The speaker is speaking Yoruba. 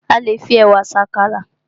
A le fi ẹ̀wà se àkàrà